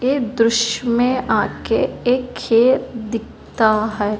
ये दृश्य में आगे एक खेत दिखता है।